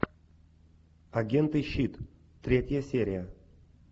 агенты щит третья серия